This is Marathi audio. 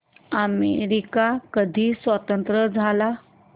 अमेरिका कधी स्वतंत्र झाला